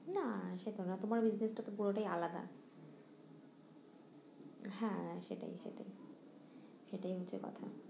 না সেটা না তোমার business টা তো পুরোটাই আলাদা হ্যাঁ সেটাই সেটাই সেটাই হচ্ছে কথা